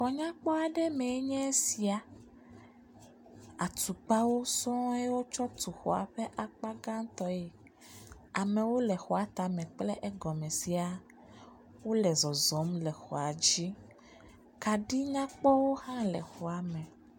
Xɔ nya kpɔa ɖe me nye sia, atukpawo sɔ̃e wo tsɔ tu xɔa ƒe akpa gã tɔe, amewo le xɔa tame kple egɔme sia, wole zɔzɔm le xɔa dzi, kaɖi nyakpɔwo hã le xɔame.